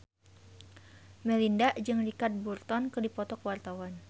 Melinda jeung Richard Burton keur dipoto ku wartawan